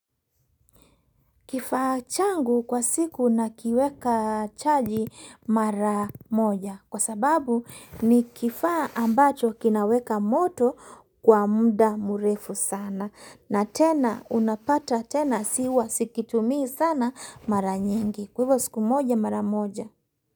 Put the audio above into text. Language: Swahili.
Kifaa changu kwa siku nakiweka chaji mara moja kwa sababu ni kifaa ambacho kinaweka moto kwa muda mrefu sana na tena unapata tena siwa sikitumi sana mara nyingi kwa siku moja mara moja.